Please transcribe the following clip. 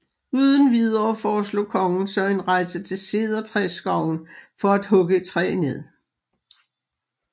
Uden videre foreslog kongen så en rejse til Cedertræsskoven for at hugge et træ ned